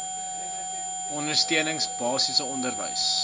ondersteuning basiese onderwys